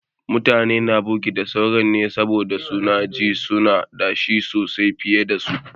Mutane na firgita sauran ne saboda su na ji su na da shi sosai fiye da su.